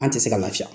An tɛ se ka lafiya